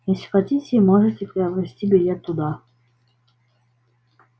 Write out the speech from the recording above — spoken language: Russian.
если хотите можете приобрести билет туда